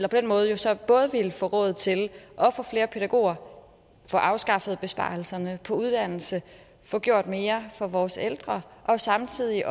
den måde så både ville få råd til at få flere pædagoger at få afskaffet besparelserne på uddannelse at få gjort mere for vores ældre samtidig